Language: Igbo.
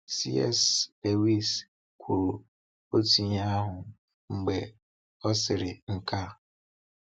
C.S. Lewis kwuru otu ihe ahụ mgbe ọ sịrị nke a: